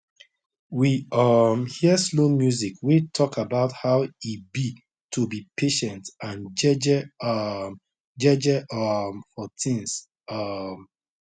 we um hear slow music wey talk about how e be to be patient and jeje um jeje um for things um